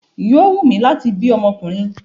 Yóó wù mí láti bí ọmọkùnrin.